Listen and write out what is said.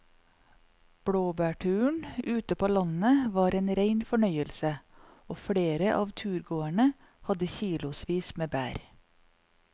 Blåbærturen ute på landet var en rein fornøyelse og flere av turgåerene hadde kilosvis med bær.